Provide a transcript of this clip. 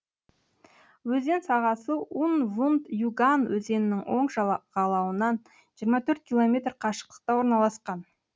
өзен сағасы ун вунт юган өзенінің оң жағалауынан жиырма төрт километр қашықтықта орналасқан